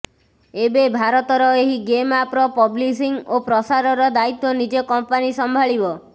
ଏବେ ଭାରତରେ ଏହି ଗେମ ଆପ୍ର ପବ୍ଲିସିଂ ଓ ପ୍ରସାରର ଦାୟିତ୍ୱ ନିଜେ କମ୍ପାନୀ ସମ୍ଭାଳିବ